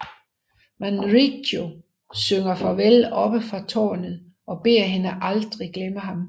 Manrico synger farvel oppe fra tårnet og beder hende aldrig glemme ham